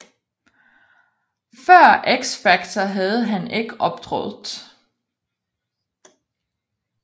Før X Factor havde han ikke optrådt